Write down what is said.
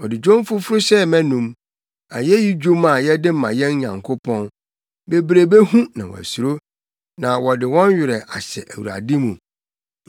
Ɔde dwom foforo hyɛɛ mʼanom, ayeyi dwom a yɛde ma yɛn Nyankopɔn. Bebree behu na wɔasuro, na wɔde wɔn werɛ ahyɛ Awurade mu.